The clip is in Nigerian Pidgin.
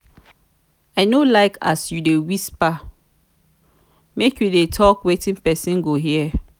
i no like as you dey whisper make you dey tok wetin pesin go hear.